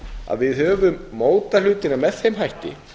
að við höfum mótað hlutina með þeim hætti